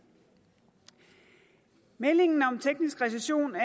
meldingen om teknisk recession er